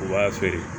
U b'a feere